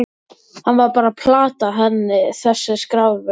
Hann var bara að plata hann þessi skarfur.